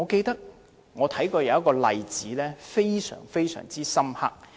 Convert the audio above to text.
有一個例子，令我印象非常深刻。